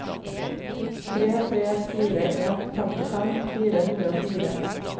tre tre fire en femtifem fire hundre og fire